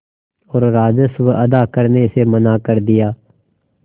और राजस्व अदा करने से मना कर दिया